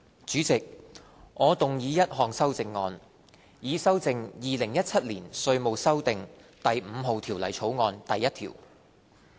主席，我動議一項修正案，以修正《2017年稅務條例草案》第1條。